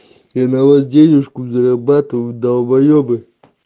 я на вас денежку зарабатываю долбоебы